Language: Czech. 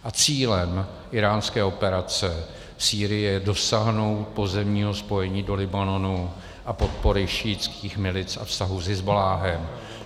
A cílem íránské operace v Sýrii je dosáhnout pozemního spojení do Libanonu a podpory šíitských milic a vztahů s Hizballáhem.